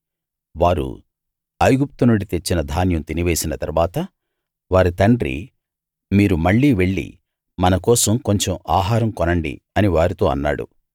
వారు ఐగుప్తునుండి తెచ్చిన ధాన్యం తినివేసిన తరువాత వారి తండ్రి మీరు మళ్ళీ వెళ్ళి మన కోసం కొంచెం ఆహారం కొనండి అని వారితో అన్నాడు